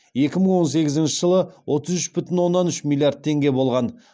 екі мың он сегізінші жылы отыз үш бүтін оннан үш миллиард теңге болған